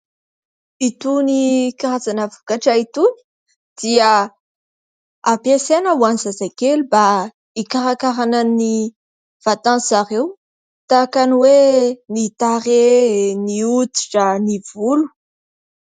Itony karazana vokatra itony dia hampiasaina ho an'ny zazakely mba hikarakaràna ny vatandry zareo, tahaka ny hoe ny tarehy, ny hoditra, ny volo.